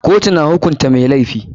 Kotu na hukunta mai laifi.